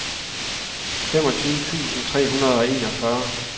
femogtyve tusind tre hundrede og enogfyrre